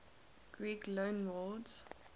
greek loanwords